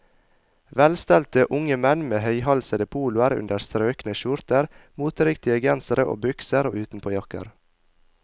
Velstelte unge menn med høyhalsede poloer under strøkne skjorter, moteriktige gensere og bukser og utenpåjakker.